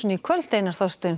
í kvöld Einar